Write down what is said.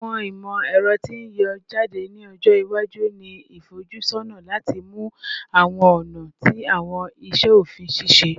Awọn imọ-ẹrọ ti n yọ jade ni ọjọ iwaju ni ifojusọna lati mu awọn ọna ti awọn iṣe ofin ṣiṣẹ